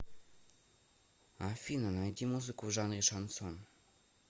афина найти музыку в жанре шансон